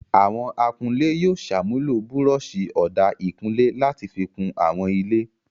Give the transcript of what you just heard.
Àwọn akunlé yóò ṣàmúlò búrọ́ṣì ọ̀dà ìkunlé láti fi kun àwọn ilé.